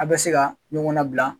A bɛ se ka ɲɔgɔn nabila.